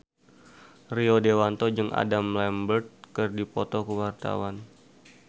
Rio Dewanto jeung Adam Lambert keur dipoto ku wartawan